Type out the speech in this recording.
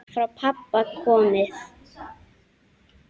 Frá pabba komið.